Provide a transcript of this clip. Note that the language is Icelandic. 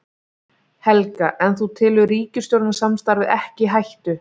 Helga: En þú telur ríkisstjórnarsamstarfið ekki í hættu?